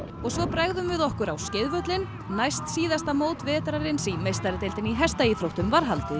og svo bregðum við okkur á næstsíðasta mót vetrarins í meistaradeildinni í hestaíþróttum var haldið í